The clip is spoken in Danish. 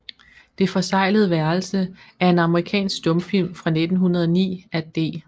Det forseglede Værelse er en amerikansk stumfilm fra 1909 af D